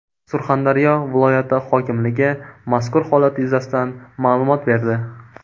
Surxondaryo viloyati hokimligi mazkur holat yuzasidan ma’lumot berdi .